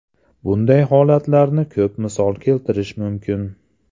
Bunday holatlarni ko‘p misol keltirish mumkin.